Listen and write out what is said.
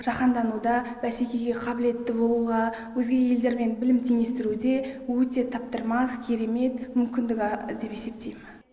жаһандануда бәсекеге қабілетті болуға өзге елдермен білім теңестіруде өте таптырмас керемет мүмкіндік деп есептеймін